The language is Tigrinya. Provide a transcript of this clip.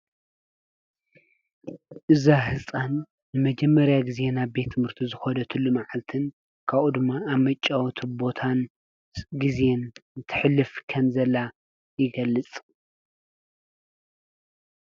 እዛ ህጻን ንመጀመርያ ጊዜ ናብ ቤት ትምህርቲ ዝከደትሉ መዓልትን ካብኡ ድማ ኣብ መጫወቲ ቦታን ግዜን ተሕልፍ ከምዘላ ይገልጽ።